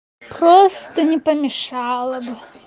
просто не помешало бы